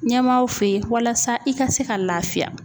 Ɲɛmaaw fe yen walasa i ka se ka lafiya.